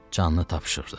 Canını tapşırırdı.